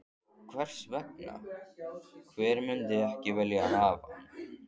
Hvers vegna ekki, hver myndi ekki vilja hafa hann?